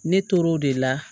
Ne tor'o de la